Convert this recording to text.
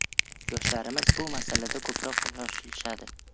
Yoshlarimiz bu masalada ko‘proq shoshilishadi.